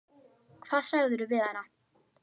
Hvað sagðirðu við hana?